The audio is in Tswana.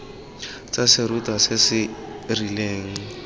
tsa serutwa se se rileng